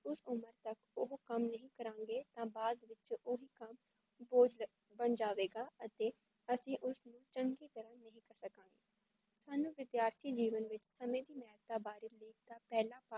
ਉਸ ਉਮਰ ਵਿੱਚ ਓਹ ਕੱਮ ਨਹੀਂ ਕਰਾਂਗੇ ਤਾਂ ਬਾਅਦ ਵਿੱਚ ਓਹ ਕੱਮ ਬੋਝ ਬਣ ਜਾਵੇਗਾ ਅਤੇ ਅਸੀ ਓਸ ਕੱਮ ਸਾਨੂੰ ਵਿਦੀਯਾਰਥੀ ਜੀਵਨ ਵਿੱਚ ਸਮੇ ਦੀ ਮੇਹਤਾ ਹੈ